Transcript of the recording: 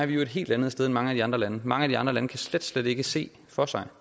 vi jo et helt andet sted end mange af de andre lande mange af de andre lande kan slet slet ikke se for sig